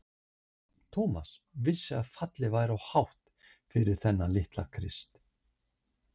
Thomas vissi að fallið væri of hátt fyrir þennan litla Krist.